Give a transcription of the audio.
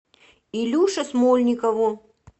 илюше смольникову